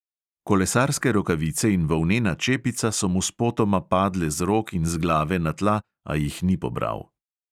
Kolesarske rokavice in volnena čepica so mu spotoma padle z rok in z glave na tla, a jih ni pobral.